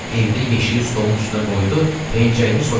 Evdə yeşiyi stolun üstünə qoydu, pencəyini soyundu.